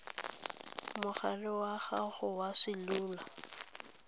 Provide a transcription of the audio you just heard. mogaleng wa gago wa selula